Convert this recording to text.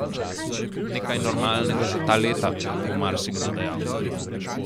Nekaj normalnega za ta leta, bo marsikdo dejal.